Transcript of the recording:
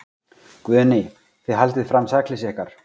Guðný: Þið haldið fram sakleysi ykkar?